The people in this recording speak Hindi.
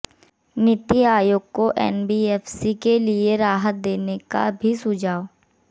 नीति आयोग को एनबीएफसी के लिए राहत देने का भी सुझाव